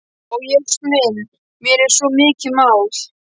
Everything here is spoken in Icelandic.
Ó Jesús minn, mér er svo mikið mál.